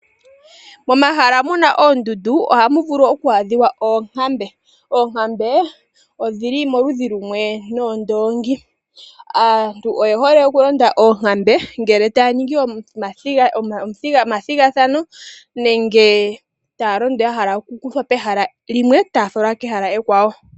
Momahala muna oondundu ohamu oku adhiwa onkambe. Onkambe odhili momuludhi lumwe noondongi. Aantu oye hole okulonda oonkambe ngele taya ningi omathigathano nenge taya londo ya hala okukuthwa pehala limwe taa falwa kehala ekwawo.